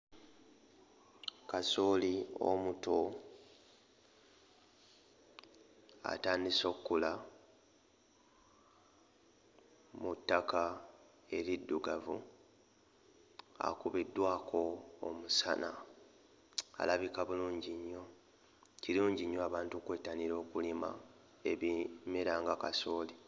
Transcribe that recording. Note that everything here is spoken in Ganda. Kasooli omuto atandise okkula mu ttaka eriddugavu akubiddwako omusana, alabika bulungi nnyo. Kirungi nnyo abantu okwettanira okulima ebimera nga kasooli.